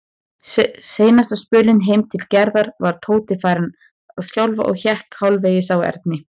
Seinasta spölinn heim til Gerðar var Tóti farinn að skjálfa og hékk hálfvegis á Erni.